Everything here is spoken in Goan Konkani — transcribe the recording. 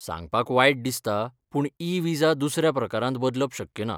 सांगपाक वायट दिसता पूण ई विजा दुसऱ्या प्रकारांत बदलप शक्य ना.